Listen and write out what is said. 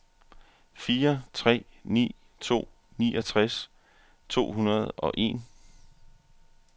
fire tre ni to niogtres to hundrede og en